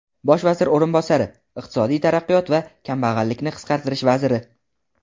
Bosh vazir o‘rinbosari — Iqtisodiy taraqqiyot va kambag‘allikni qisqartirish vaziri.